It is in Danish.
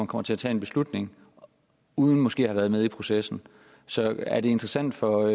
kommer til at tage en beslutning uden måske at have været med i processen så er det interessant for